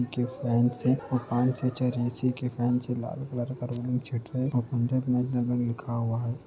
के फैन्स हैं औ पान छे चार ए.सी. के फैन्स है। लाल कलर का और पंजाब नेशनल बैंक लिखा हुआ है।